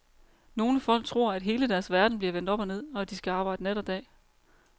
Nogle folk tror, at hele deres verden bliver vendt op og ned, og at de skal arbejde nat og dag.